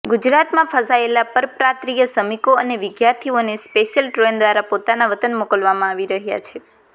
ગુજરાતમાં ફસાયેલા પરપ્રાંતિય શ્રમિકો અને વિદ્યાર્થીઓને સ્પેશિયલ ટ્રેન દ્વારા પોતાના વતન મોકલવામાં આવી રહ્યાં છે